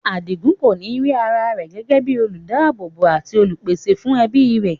Adigun kòní rí ara rẹ̀ gẹ́gẹ́ bíi olùdáábòbò àti olùpèsè fún ẹbí rẹ̀.